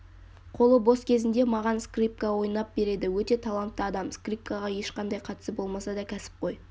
қолы бос кезінде маған скрипка ойнап береді өте талантты адам скрипкаға ешқандай қатысы болмаса да кәсіпқой